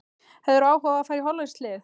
Hefðirðu áhuga á að fara í hollenskt lið?